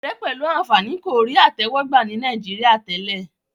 òré pẹlú ànfàní kò rí àtẹwò gbà ní Nàìjíríà tèlé